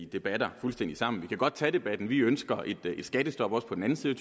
debatter fuldstændig sammen men vi kan godt tage debatten vi ønsker et skattestop også på den anden side